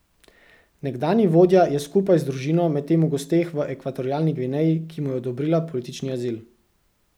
Nekdanji vodja je skupaj z družino medtem v gosteh v Ekvatorialni Gvineji, ki mu je odobrila politični azil.